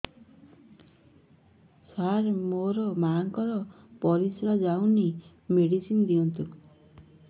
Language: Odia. ସାର ମୋର ମାଆଙ୍କର ପରିସ୍ରା ଯାଉନି ମେଡିସିନ ଦିଅନ୍ତୁ